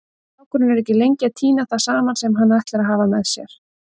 Strákurinn er ekki lengi að tína það saman sem hann ætlar að hafa með sér.